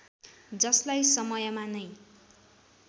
जसलाई समयमा नै